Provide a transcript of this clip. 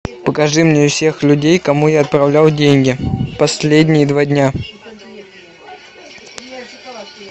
покажи мне всех людей кому я отправлял деньги последние два дня